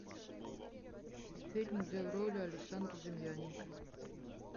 фильм где в роли александр демьяненко